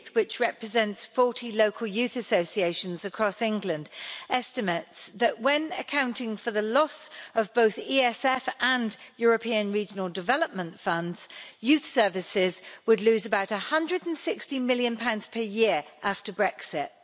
Youth, which represents 40 local youth associations across England, estimates that when accounting for the loss of funds from both the ESF and the European Regional Development Fund, youth services would lose about GBP 160 million per year after Brexit.